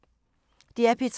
DR P3